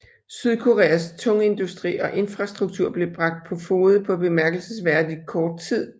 Sydkoreas tungindustri og infrastruktur blev bragt på fode på bemærkelsesværdig kort tid